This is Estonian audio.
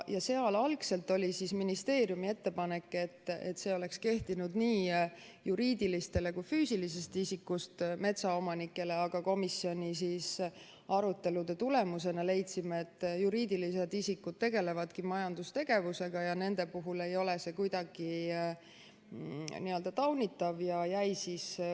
Algselt oli ministeeriumi ettepanek, et see oleks kehtinud nii juriidilistele kui ka füüsilisest isikust metsaomanikele, aga komisjoni arutelude tulemusena leidsime, et juriidilised isikud tegelevadki majandustegevusega ja nende puhul ei ole see kuidagi taunitav.